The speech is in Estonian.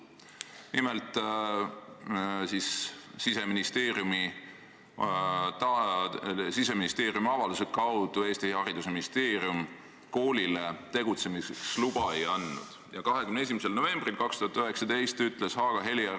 Nimelt, Siseministeeriumi avalduse peale Eesti haridusministeerium koolile tegutsemiseks luba ei andnud ja 21. novembril 2019 ütles Haaga-Helia kõrgkooli rektor ...